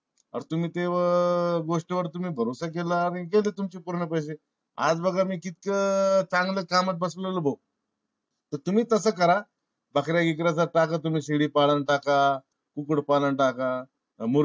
अर तुम्ही तेवा गोष्टी वर भरोसा केला आणि गेले तुमचे पूर्ण पैसे. आज बघा मी कितीक चांगल्या कामात बसलो भो तर तम्ही तस करा. बकऱ्या इकऱ्या च टाका तुम्ही. शेळी पालन टाका. कुक्कुट पालन टाका.